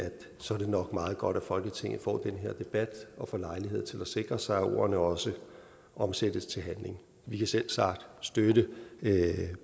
så er det nok meget godt at folketinget får den her debat og får lejlighed til at sikre sig at ordene også omsættes til handling vi kan selvsagt støtte